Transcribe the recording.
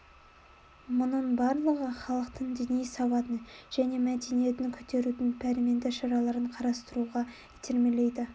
мұның барлығы халықтың діни сауатын және мәдениетін көтерудің пәрменді шараларын қарастыруға итермелейді